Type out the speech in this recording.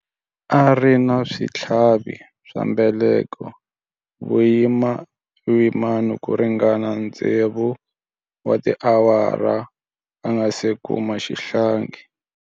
A ri na switlhavi swa mbeleko vuyimani ku ringana tsevu wa tiawara a nga si kuma xihlangi.